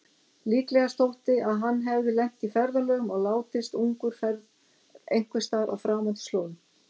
Líklegast þótti að hann hefði lent í ferðalögum og látist ungur einhversstaðar á framandi slóðum.